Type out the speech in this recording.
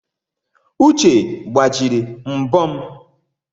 Uche gbajiri mbo m